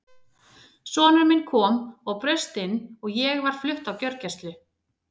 Sonur minn kom og braust inn og ég var flutt á gjörgæslu.